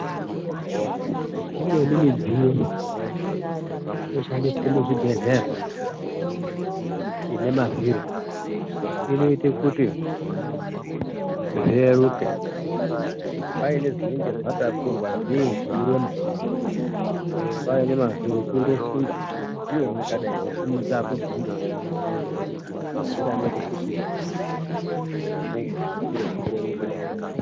Imweni midziyo inoshandiswe muzvibhedhleya ine mavhiri inoite kuti zvireruke kuti paine zvinonge zvatakurwa zvii zveirema paine mavhiri kundosunda, ndiyani wakadayi kusimudza akubviri ngekurwadza. Mavhiri anoite kuti uremu hwechiro hureruke.